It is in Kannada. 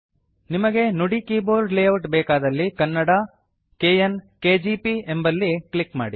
ನಿಮಗೆ ನುಡಿ ಕೀಬೋರ್ಡ್ ಲೇಯೌಟ್ ಬೇಕಾದಲ್ಲಿ ಕನ್ನಡ - ಕೆಎನ್ ಕೆಜಿಪಿ ಎಂಬಲ್ಲಿ ಕ್ಲಿಕ್ ಮಾಡಿ